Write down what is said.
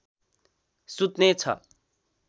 सुत्ने छ